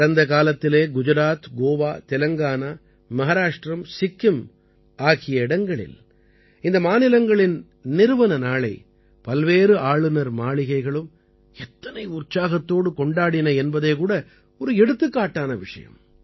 கடந்த காலத்திலே குஜராத் கோவா தெலங்கானா மஹாராஷ்டிரம் சிக்கிம் ஆகிய இடங்களில் இந்த மாநிலங்களின் நிறுவன நாளை பல்வேறு ஆளுநர் மாளிகைகளும் எத்தனை உற்சாகத்தோடு கொண்டாடின என்பதே கூட ஒரு எடுத்துக்காட்டான விஷயம்